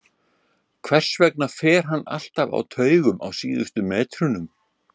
Hvers vegna fer hann alltaf á taugum á síðustu metrunum?